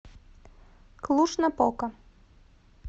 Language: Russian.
клуж напока